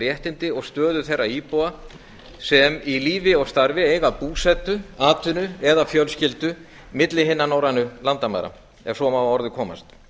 réttindi og stöðu þeirra íbúa sem í lífi og starfi eiga búsetu atvinnu eða fjölskyldu milli hinna norrænu landamæra ef svo má að orði komast